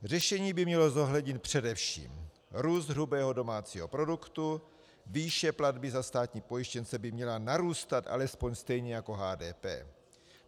Řešení by mělo zohlednit především růst hrubého domácího produktu, výše platby za státní pojištěnce by měla narůstat alespoň stejně jako HDP.